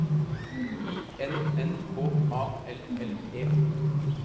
I N N K A L L E